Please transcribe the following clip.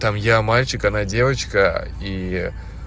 там я мальчик она девочка и